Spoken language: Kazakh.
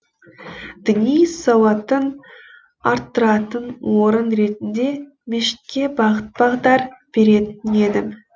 діни сауатын арттыратын орын ретінде мешітке бағыт бағдар беретін едім